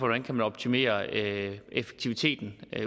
man kan optimere effektiviteten